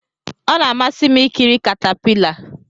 Ọ na-amasị m ikiri katapila.